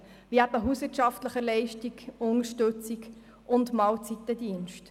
Dazu gehören etwa die hauswirtschaftliche Unterstützung oder der Mahlzeitendienst.